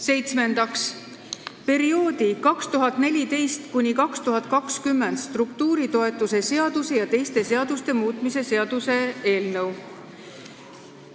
Seitsmendaks, perioodi 2014–2020 struktuuritoetuse seaduse ja teiste seaduste muutmise seaduse eelnõu.